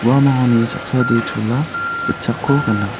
uanoni saksade chola gitchakko gana.